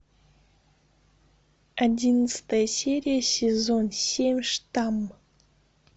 одиннадцатая серия сезон семь штамм